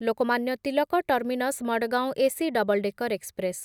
Lokmanya Tilak terminus Madgaon AC double decker express